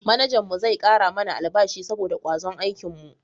Manajan mu zai kara mana albashi saboda kwazon aikin mu